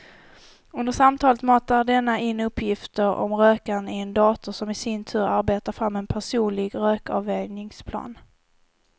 Under samtalet matar denna in uppgifter om rökaren i en dator som i sin tur arbetar fram en personlig rökavvänjningsplan.